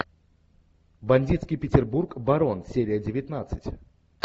бандитский петербург барон серия девятнадцать